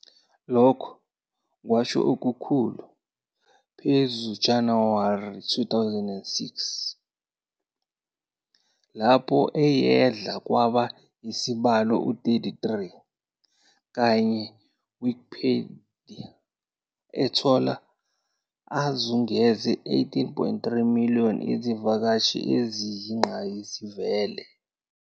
Lokhu kwasho okukhulu phezu January 2006, lapho ayedla kwaba isibalo 33, kanye Wikipedia ethola azungeze 18.3 million izivakashi eziyingqayizivele.